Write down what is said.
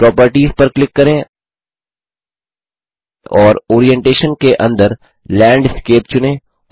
properties पर click करें और ओरिएंटेशन के अंदर लैंडस्केप चुनें